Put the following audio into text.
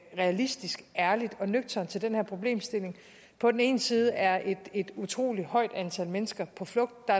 realistisk ærligt og nøgternt til den her problemstilling på den ene side er et utrolig højt antal mennesker på flugt og